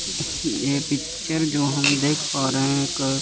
ये पिक्चर जो हम देख पा रहे हैं क--